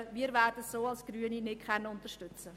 Wir Grünen werden es nicht unterstützen.